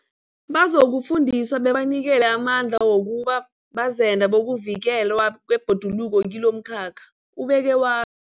Bazokufundiswa bebanikelwe amandla wokuba bazenda bokuvikelwa kwebhoduluko kilomkhakha, ubeke wa